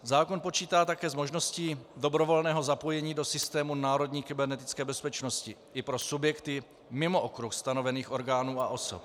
Zákon počítá také s možností dobrovolného zapojení do systému národní kybernetické bezpečnosti i pro subjekty mimo okruh stanovených orgánů a osob.